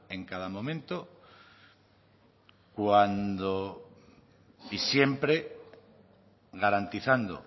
en cada momento y siempre garantizando